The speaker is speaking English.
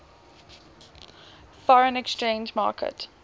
foreign exchange market